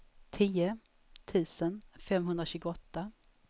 tio tusen femhundratjugoåtta